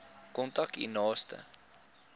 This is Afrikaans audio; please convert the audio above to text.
kontak u naaste